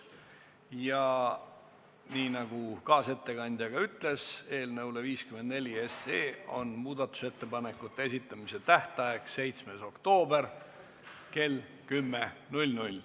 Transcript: Ja nii nagu kaasettekandja ütles, on eelnõu 54 muudatusettepanekute esitamise tähtaeg 7. oktoober kell 10.